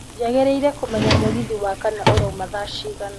njagĩriĩre kũmenya mũgithi wa kana ũrauma thaa cigana